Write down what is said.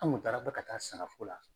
Anw kun taara ko ka taa sagako la.